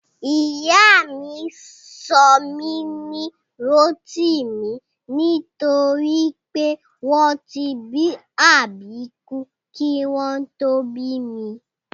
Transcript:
Ìyá mi sọ mí ní Rótìmí nítorí pé wọn tí bí àbíkú kí wọ́n tó bí mi